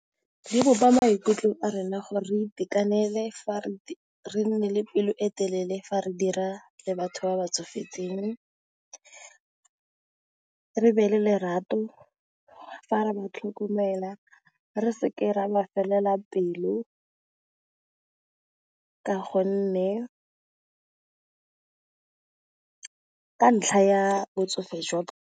Di bopa maikutlo a rena gore re itekanele re nne le pelo e telele fa re dira le batho ba ba tsofetseng, re be le lerato fa re ba tlhokomela, re seke ra ba felela pelo ka ka ntlha ya botsofe jwa bone.